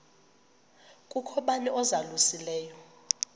kukho bani uzalusileyo